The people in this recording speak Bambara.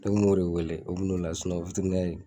Ne kun m'o de wele o bɛ n'o la